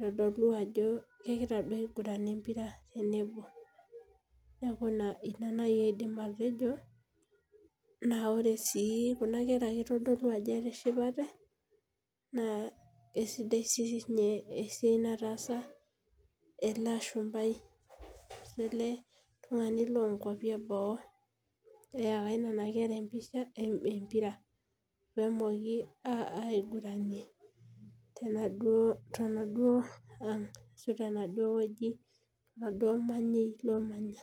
aitadolu ajo kegira duo aiguran empira tenebo neaku ina nai aidim atejo na ore si kuna kera itadolu ajo etoshipate na kesidai ena nataasa eletungani le boo eyaka nona kera empira pemoki aigiranie tenaduo manyi lomanya.